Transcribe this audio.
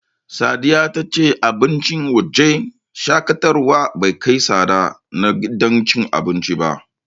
Sadiya ta ce abincin wajen shaƙatawar bai kai tsadar na gidan cin abincin ba.